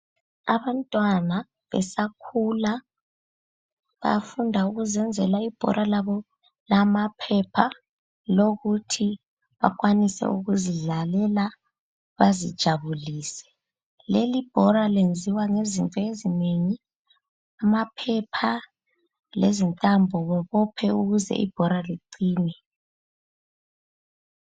Abantwana besakhula bafunda ukuzenzela ibhora labo lama phepha. lokuthi bakwanise ukuthi bazidlalele bazijabulise. Leli bhora lenziwa ngezinto ezinengi amaphepha lezintambo bebophe ukuze ibhora liqine.